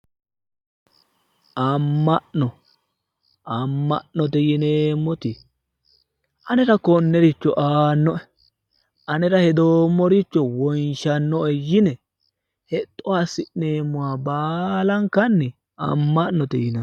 amma'no amma'note yineemmoti anera konnericho aannoe anera hedoommoricho wonshannoe yine hexxo assi'neemmore baalankanni amma'note yinanni.